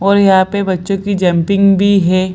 और यहाँ पे बच्चों की जम्पिंग भी है।